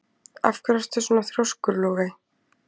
Af hverju ertu svona þrjóskur, Logey?